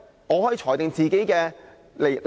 我可裁定自己離題。